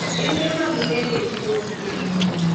Kembe mag ndege jiwo piem.